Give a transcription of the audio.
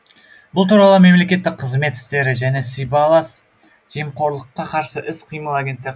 бұл туралы мемлекеттік қызмет істері және сибайлас жемқорлыққа қарсы іс қимыл агенттігі